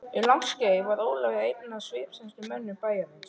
Um langt skeið var Ólafur einn af svipmestu mönnum bæjarins.